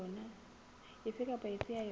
efe kapa efe ya yona